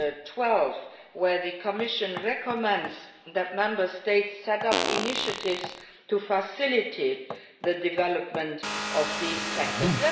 2012, where the Commission recommends that Member States set up initiatives to facilitate the development of